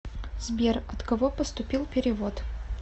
сбер от кого поступил перевод